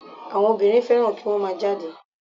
Àwọn obìnrin fẹ́ràn kí wọ́n má a jáde